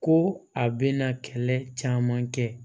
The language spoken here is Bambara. Ko a bɛna kɛlɛ caman kɛ